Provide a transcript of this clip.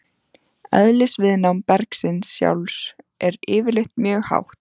Eðlisviðnám bergsins sjálfs er yfirleitt mjög hátt.